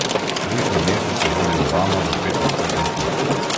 Prejšnji mesec je vodil Obama za pet odstotnih točk.